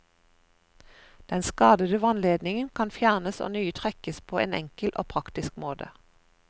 Den skadede vannledningen kan fjernes og nye trekkes på en enkelt og praktisk måte.